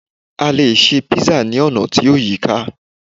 a lè ṣe pizza ni ona ti o yíká